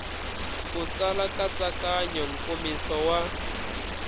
u tsala nkatsakanyo nkomiso wa